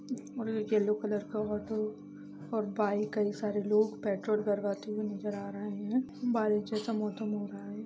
और ये yellow colour का ऑटो और बाइक कई सारे लोग पेट्रोल भरवाते हुए नजर आ रहे हैं बारिश जैसा मौसम हो रहा है।